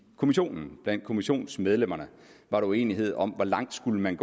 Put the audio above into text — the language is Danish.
kommissionen blandt kommissionsmedlemmerne var uenighed om hvor langt man